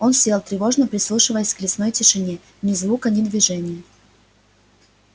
он сел тревожно прислушиваясь к лесной тишине ни звука ни движения